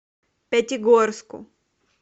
пятигорску